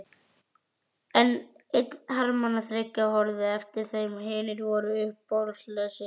Einn hermannanna þriggja horfði á eftir þeim, hinir voru áhugalausir.